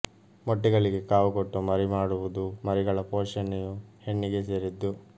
ಮೊಟ್ಟೆಗಳಿಗೆ ಕಾವು ಕೊಟ್ಟು ಮರಿಮಾಡುವುದೂ ಮರಿಗಳ ಪೋಷಣೆಯೂ ಹೆಣ್ಣಿಗೇ ಸೇರಿದ್ದು